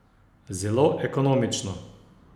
Zelo ekonomično!